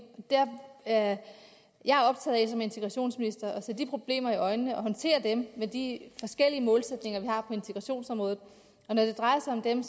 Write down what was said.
jeg er som integrationsminister optaget af at se de problemer i øjnene og håndtere dem ud fra de forskellige målsætninger vi har på integrationsområdet og når det drejer sig om dem